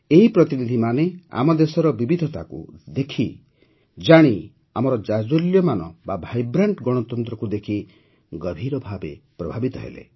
ଏହି ପ୍ରତିନିଧିମାନେ ଆମ ଦେଶର ବିବିଧତାକୁ ଦେଖି ଆମର ଜାଜ୍ଜ୍ୱଲ୍ୟମାନ ଭାଇବ୍ରାଣ୍ଟ ଗଣତନ୍ତ୍ରକୁ ଦେଖି ଗଭୀର ଭାବେ ପ୍ରଭାବିତ ହେଲେ